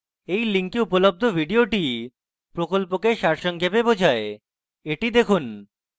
এই link উপলব্ধ video প্রকল্পকে সারসংক্ষেপে বোঝায় the দেখুন